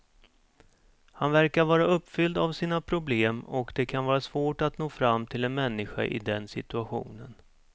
Han verkar vara uppfylld av sina problem och det kan vara svårt att nå fram till en människa i den situationen.